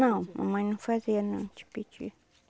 Não, mamãe não fazia não, o tipiti.